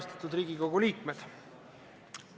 Austatud Riigikogu liikmed!